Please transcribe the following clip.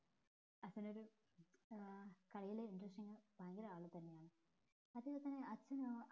അച്ഛനൊരു കളില് interesting ഭയങ്കര അളവിൽ തന്നെയാണ് അതെ പോലെ തന്നെ അച്ഛന്